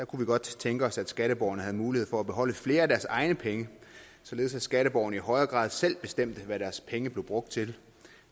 kunne vi godt tænke os at skatteborgerne havde mulighed for at beholde flere af deres egne penge således at skatteborgerne i højere grad selv bestemte hvad deres penge blev brugt til